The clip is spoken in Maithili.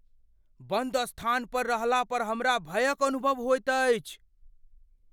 बन्द स्थान पर रहला पर हमरा भयक अनुभव होइत अछि।